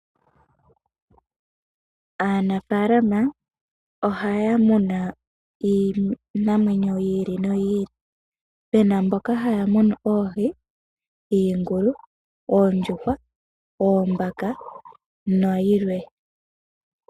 Aanafaalama ohaya muna iinamwenyo yiili noyiili, pena mboka haamuna oohi, iingulu, oondjuhwa, oombaka nayilwe.